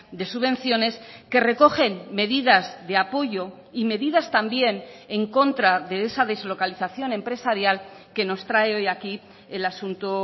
de subvenciones que recogen medidas de apoyo y medidas también en contra de esa deslocalización empresarial que nos trae hoy aquí el asunto